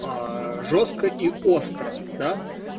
жёстко и остро да